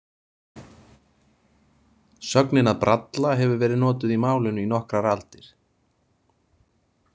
Sögnin að bralla hefur verið notuð í málinu í nokkrar aldir.